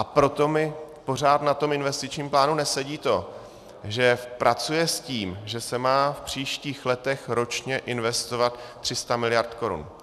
A proto mi pořád na tom investičním plánu nesedí to, že pracuje s tím, že se má v příštích letech ročně investovat 300 miliard korun.